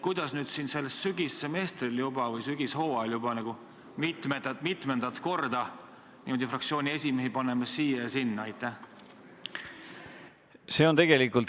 Kuidas me nüüd sellel sügishooajal juba mitmendat korda paneme fraktsiooni esimehi kord siia, kord sinna?